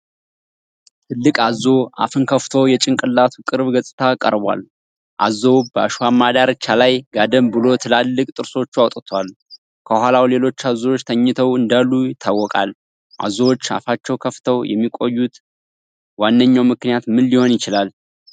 ትልቅ አዞ አፍን ክፍቶ የጭንቅላቱ ቅርብ ገጽታ ቀርቧል። አዞው በአሸዋማ ዳርቻ ላይ ጋደም ብሎ ትላልቅ ጥርሶቹ አውጥቷል። ከኋላው ሌሎች አዞዎች ተኝተው እንዳሉ ይታወቃል። አዞዎች አፋቸውን ከፍተው የሚቆዩበት ዋነኛው ምክንያት ምን ሊሆን ይችላል?